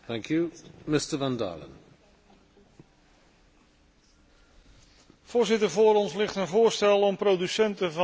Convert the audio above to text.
Voorzitter, voor ons ligt een voorstel om producenten van landbouw en visserijproducten in de Palestijnse gebieden handelsvoordelen te geven.